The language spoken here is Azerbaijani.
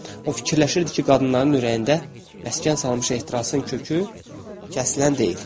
O fikirləşirdi ki, qadınların ürəyində məskən salmış ehtirasın kökü kəsilən deyil.